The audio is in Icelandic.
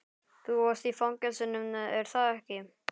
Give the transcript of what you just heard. Þú varst í fangelsinu, er það ekki?